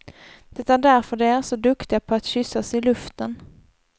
Det är därför de är så duktiga på att kyssas i luften.